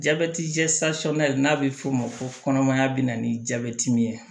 n'a bɛ f'o ma ko kɔnɔmaya bɛna ni jabɛti min ye